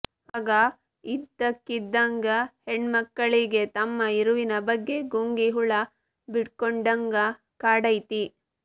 ಅವಾಗ ಇದ್ದಕ್ಕಿದ್ಹಂಗ ಹೆಣ್ಮಕ್ಕಳಿಗೆ ತಮ್ಮ ಇರುವಿನ ಬಗ್ಗೆ ಗುಂಗಿ ಹುಳ ಬಿಟ್ಕೊಂಡ್ಹಂಗ ಕಾಡ್ತೈತಿ